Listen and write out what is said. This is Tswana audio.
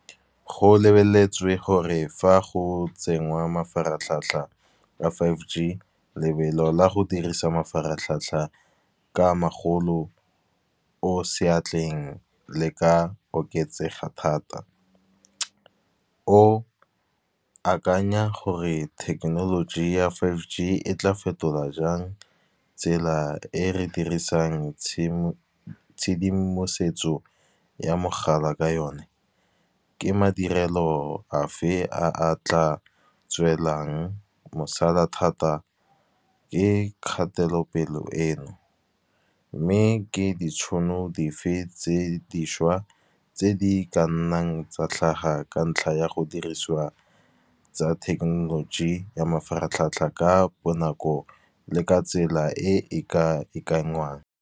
Go lebeletswe gore fa go tsengwa mafaratlhatlha a five g, lebelo la go dirisa mafaratlhatlha ka a magolo o seatleng le ka oketsega thata. O akanya gore thekenoloji ya five g e tla fetola jang tsela e re dirisang tshedimosetso ya mogala ka yone. Ke madirelo a fe a a tla tswelang mosala thata, ke kgatelopele e no. Mme ke ditšhono dife tse tse dišwa tse di ka nnang tsa tlhaga ka ntlha ya go dirisiwa, tsa thekenoloji ya mafaratlhatlha ka bonako le ka tsela e e ka .